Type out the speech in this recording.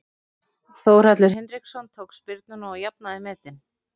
Þórhallur Hinriksson tók spyrnuna og jafnaði metin.